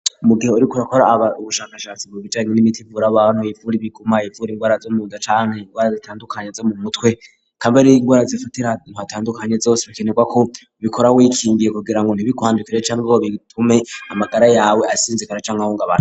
mugihe uri kurakora aba ubushakashatsi bubijaranye n'imiti vur abantu ivura ibigumaye ivura indwara zo mu dacani indwara zitandukanya zo mu mutwe kamberi indwara zifate nthatandukanye zose bikenerwa ko bikora wikingiye kugira ngo ntibikwandukire cyangwa o bitume amagara yawe asinzikara cy'amahunga abane.